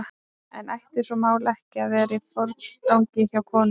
En ætti svona mál ekki að vera í forgangi hjá konum?